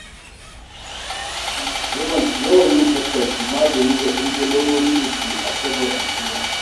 Yawan yin tattaki magani ga ɗimbin lalurorin da ke addabar al'umma.